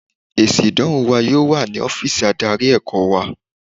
Èsì ìdánwò wa yóò wà ní ọ́fíìsì adarí ẹ̀kọ́ wa.